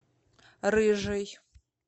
рыжий